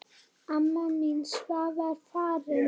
Amma mín Svava er farin.